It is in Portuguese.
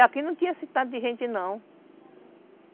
E aqui não tinha esse tanto de gente, não.